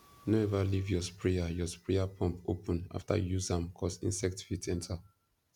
no ever leave your sprayer your sprayer pump open after you use am cos insect fit enter